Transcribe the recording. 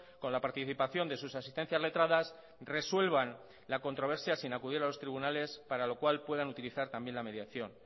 con la participación de sus asistencias letradas resuelvan la controversia sin acudir a los tribunales para lo cual puedan utilizar también la mediación